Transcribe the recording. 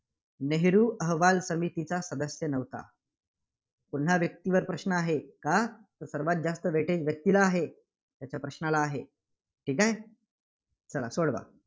नेहरू अहवाल समिताचा सदस्य नव्हता? पुन्हा व्यक्तीवर प्रश्न आहे, कां? तर सर्वांत जास्त weightage व्यक्तीला आहे, त्याच्या प्रश्नाला आहे. ठीक आहे. चला सोडवा.